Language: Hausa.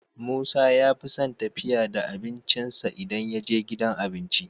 Musa yafison tafiya da abincin sa idan yaje gidan abinci